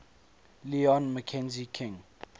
lyon mackenzie king